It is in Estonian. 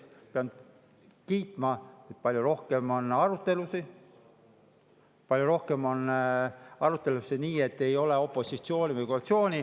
Pean kiitma, et palju rohkem on arutelusid, palju rohkem on arutelusid nii, et ei ole opositsiooni või koalitsiooni.